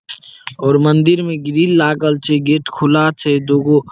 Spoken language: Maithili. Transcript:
और मंदिर में ग्रिल लागल छे गेट खुला छे दुगो --